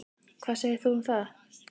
Hvað segir þú um það?